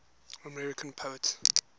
american poets